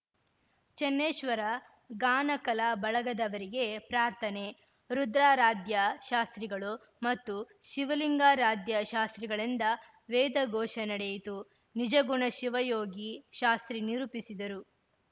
ಚನ್ನೇಶ್ವರ ಗಾನ ಕಲಾ ಬಳಗದವರಿಗೆ ಪ್ರಾರ್ಥನೆ ರುದ್ರಾರಾಧ್ಯ ಶಾಸ್ತ್ರಿಗಳು ಮತ್ತು ಶಿವಲಿಂಗಾರಾಧ್ಯ ಶಾಸ್ತ್ರಿಗಳಿಂದ ವೇದಘೋಷ ನಡೆಯಿತು ನಿಜಗುಣಶಿವಯೋಗಿ ಶಾಸ್ತ್ರಿ ನಿರೂಪಿಸಿದರು